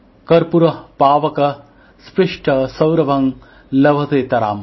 কর্পূরঃ পাবক স্পৃষ্টঃ সৌরভং লভতেতরাম